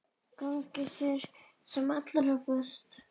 Gangi þér sem allra best.